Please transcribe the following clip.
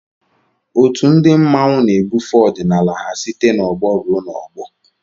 Otù ndị mmanwu na-ebufe ọdịnala ha site n'ọgbọ ruo n'ọgbọ